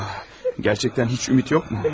Gerçəkdən heç ümid yoxmu?